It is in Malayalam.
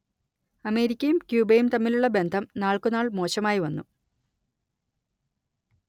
അമേരിക്കയും ക്യൂബയും തമ്മിലുള്ള ബന്ധം നാൾക്കുനാൾ മോശമായി വന്നു